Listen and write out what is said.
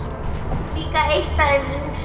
Líka eitt af þeim yngstu.